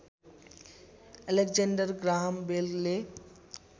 Alexander Graham बेलले